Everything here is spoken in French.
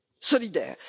solidaire.